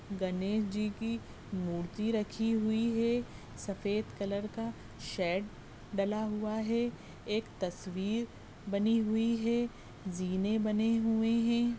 गणेश जी की मूर्ति रखी हुई है सफेद कलर का शेड डला हुआ है एक तस्वीर बनी हुई है ज़ीने बने हुए है।